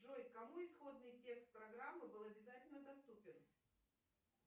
джой кому исходный текст программы был обязательно доступен